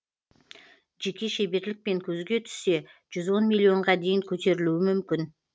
жеке шеберлікпен көзге түссе жүз он миллионға дейін көтерілуі мүмкін